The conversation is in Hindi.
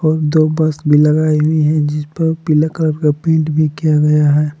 दो बस भी लगाई हुई है जिसपर पीला कलर का पेंट भी किया गया है।